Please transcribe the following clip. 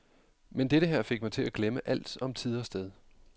Men dette her fik mig til at glemme alt om tid og sted.